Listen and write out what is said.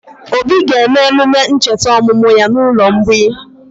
Obi ga-eme emume ncheta ọmụmụ ya n'ụlọ mgbei?